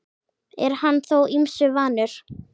Er hann þó ýmsu vanur.